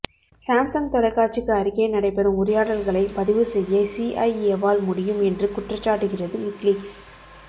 Samsung தொலைக்காட்சிக்கு அருகே நடைபெறும் உரையாடல்களை பதிவு செய்ய சி ஐ ஏவால் முடியும் என்று குற்றஞ்சாட்டுகிறது விக்கிலீக்ஸ்